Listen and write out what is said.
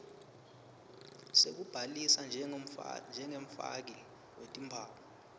sekubhalisa njengemfaki wetimphawu